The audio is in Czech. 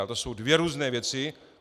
A to jsou dvě různé věci.